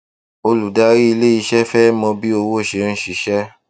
olùdarí ilé iṣẹ fẹ mọ bí owó ṣe ń ṣiṣẹ